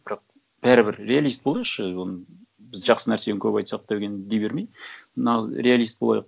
бірақ бәрібір реалист болайықшы оны біз жақсы нәрсені көп айтсақ деген дей бермей нағыз реалист болайық